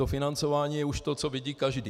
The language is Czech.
To financování je už to, co vidí každý.